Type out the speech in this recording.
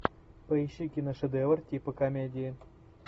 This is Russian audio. поищи киношедевр типа комедии